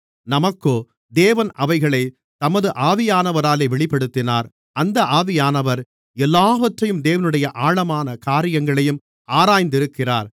நமக்கோ தேவன் அவைகளைத் தமது ஆவியானவராலே வெளிப்படுத்தினார் அந்த ஆவியானவர் எல்லாவற்றையும் தேவனுடைய ஆழமான காரியங்களையும் ஆராய்ந்திருக்கிறார்